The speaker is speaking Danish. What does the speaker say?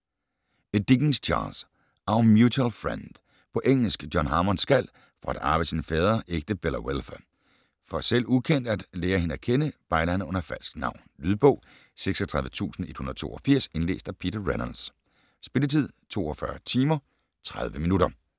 Dickens, Charles: Our mutual friend På engelsk. John Harmond skal, for at arve sin fader, ægte Bella Wilfer. For, selv ukendt, at lære hende at kende, bejler han under falsk navn. Lydbog 36182 Indlæst af Peter Reynolds Spilletid: 42 timer, 30 minutter